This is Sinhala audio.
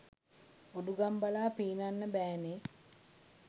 උඩුගම් බලා පීනන්න බෑනේ.